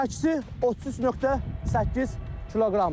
Çəkisi 33.8 kqdır.